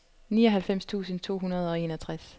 nioghalvfems tusind to hundrede og enogtres